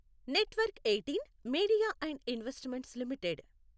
network eighteen media and investments limited